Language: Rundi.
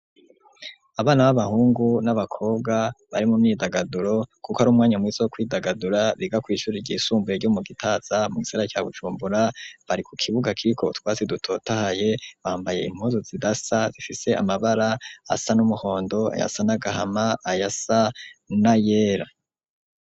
Abana b'abahungu n'abakobwa bari mu myidagaduro, kuko arumwanya mwizi wo kwidagadura biga kw'ishuri ryisumbuye ryo mu gitaza mu'gisara ca gucumbura, bari ku kibuga kiko twatsi dutotahaye bambaye impozo zida sa bifise amabara asa n'umuhondo, ayasa n'agahama, ayasa na yera.